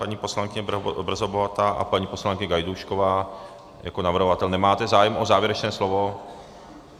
Paní poslankyně Brzobohatá a paní poslankyně Gajdůšková jako navrhovatel - nemáte zájem o závěrečné slovo?